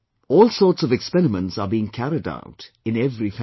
All sorts of experiments are being carried out in every family